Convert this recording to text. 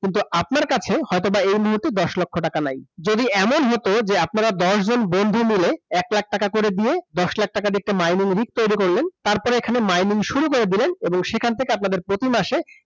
কিন্তু আপনার কাছে এই মুহুর্তে হয়তোবা দশ লক্ষ টাকা নাই । যদি এমন হতো যে আপনারা দশজন বন্ধু মিলে এক লাখ টাকা করে দিয়ে, দশ লাখ টাকার একটা mining তৈরি করলেন তারপরে এখানে mining শুরু করে দিলেন এবং সেখান থেকে আপনাদের প্রতি মাসে